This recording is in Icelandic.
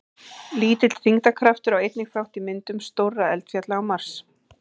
Lítill þyngdarkraftur á einnig þátt í myndum stórra eldfjalla á Mars.